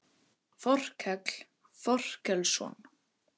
Þorkell Þorkelsson.